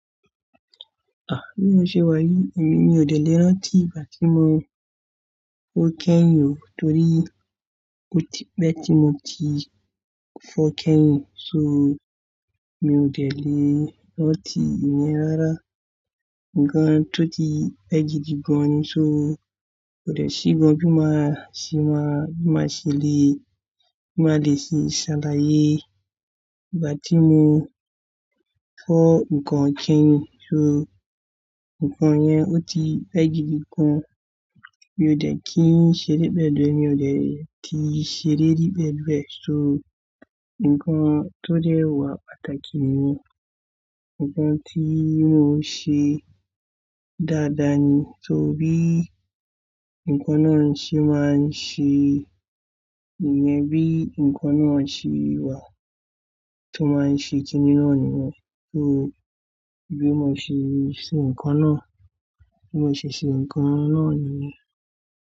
Ah! Bí mo ṣe wáyé, èmi ò dẹ̀ lẹ́rọ̀ ti ìgbà tí mo fọ kẹ́yin o. Torí ó ti pẹ́ tí mo ti fọ kẹ́yin, so mi ò dẹ̀ lẹ́rọ̀ ti ìyẹn rárá. Ǹkan tó ti pẹ́ gidigan ni, so kò dẹ̀ sí gan bí màá ṣe máa, bí màá ṣe lé, bí màá lè sì ṣàlàyé ìgbà tí mo fọ ǹkan kẹ́yin. So ǹkan yẹn ó ti pẹ́ gidigan. Mi ò dẹ̀ kí ń ṣe dé pẹ̀lú rẹ̀, mi ò dẹ̀ ti ṣe dé dé pẹ̀lú rẹ̀. So ǹkan tó dẹ́ wà pàtàkì ni ǹkan tí mo ṣe dáadáa ni. So bí ǹkan náà ṣe máa ń ṣe ìyẹn, bí ǹkan náà ṣe wà tó máa ń ṣe ti inú rẹ̀ nìyẹn. So bí mo ṣe ṣe ǹkan náà, bí mo ṣe ṣe ǹkan náà nìyẹn.